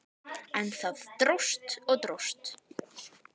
En það dróst og dróst.